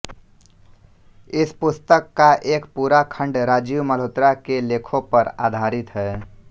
इस पुस्तक का एक पूरा खंड राजीव मल्होत्रा के लेखों पर आधारित है